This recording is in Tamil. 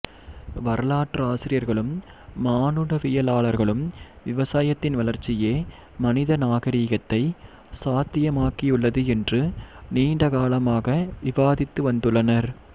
வரலாற்றாசிரியர்களும் மானுடவியலாளர்களும் விவசாயத்தின் வளர்ச்சியே மனித நாகரீகத்தை சாத்தியமாக்கியுள்ளது என்று நீண்ட காலமாக விவாதித்து வந்துள்ளனர்